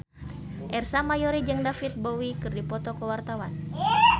Ersa Mayori jeung David Bowie keur dipoto ku wartawan